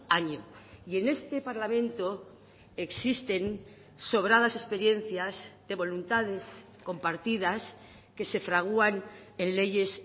año y en este parlamento existen sobradas experiencias de voluntades compartidas que se fraguan en leyes